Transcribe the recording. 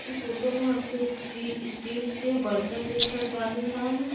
इ फोटो में हमके स्टी स्टील के बर्तन देख रहल बानी हम।